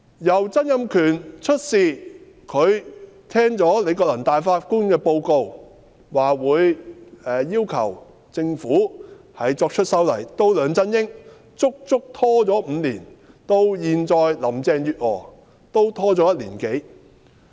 由曾蔭權聽罷李國能大法官的報告，表示會要求政府作出修例，到梁振英，足足拖了5年，到現在林鄭月娥，也拖了1年多。